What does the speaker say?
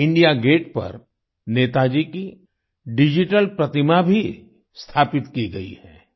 India Gate पर नेताजी की digital प्रतिमा भी स्थापित की गई है